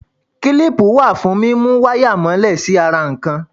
Kílípù wà fún múmú wáyà mọ́lẹ̀ sí ara nǹkan.